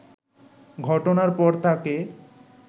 ঘটনার পর তাকে